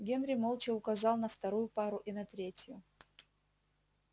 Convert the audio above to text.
генри молча указал на вторую пару и на третью